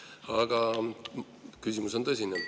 Aga küsimus on tõsine.